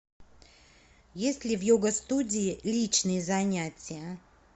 есть ли в йога студии личные занятия